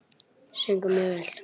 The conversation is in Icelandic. Söng hún mjög vel.